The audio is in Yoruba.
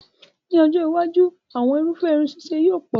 Ní ọjọ́ iwájú, àwọn irúfẹ́ irun ṣíṣe yóò pọ̀